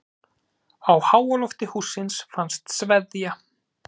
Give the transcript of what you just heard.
Á háalofti hússins fannst sveðja.